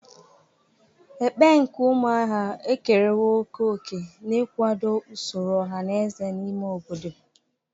Ekpe nke umuahia ekerewo oke oke n'ikwado usoro oha na eze n'ime obodo.